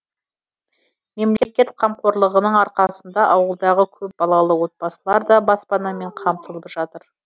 мемлекет қамқорлығының арқасында ауылдағы көп балалы отбасылар да баспанамен қамтылып жатыр